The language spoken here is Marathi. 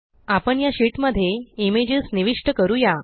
आपण या शीट मध्ये इमेजस निविष्ट करूया